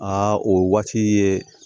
Aa o waati ye